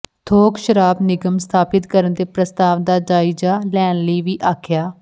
ਥੋਕ ਸ਼ਰਾਬ ਨਿਗਮ ਸਥਾਪਤ ਕਰਨ ਦੇ ਪ੍ਰਸਤਾਵ ਦਾ ਜਾਇਜ਼ਾ ਲੈਣ ਲਈ ਵੀ ਆਖਿਆ